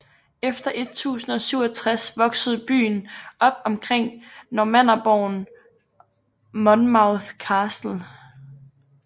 Efter 1067 voksede byen op omkring normannerborgen Monmouth Castle